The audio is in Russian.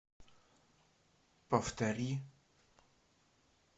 повтори